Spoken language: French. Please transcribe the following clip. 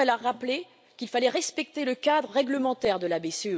D'abord, elle a rappelé qu'il fallait respecter le cadre réglementaire de la BCE.